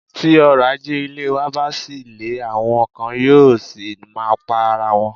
Tí òrọ̀ ajé ilẹ̀ wa bá ṣì le, àwọn kan yóò ṣì máa pa ara wọn.